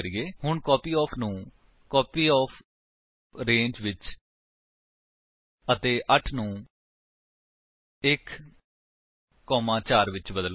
ਹੁਣ ਕਾਪਯੋਫ ਨੂੰ ਕਾਪੀਓਫਰੇਂਜ ਵਿਚ ਅਤੇ 8 ਨੂੰ 1 4 ਵਿਚ ਬਦਲੋ